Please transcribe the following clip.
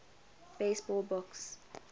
baseball books